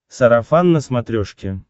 сарафан на смотрешке